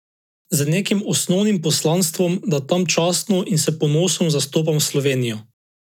Z nekim osnovnim poslanstvom, da tam častno in s ponosom zastopam Slovenijo.